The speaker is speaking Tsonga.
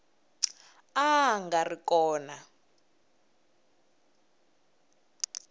a a nga ri kona